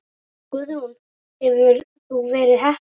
Guðrún: Hefur þú verið heppin?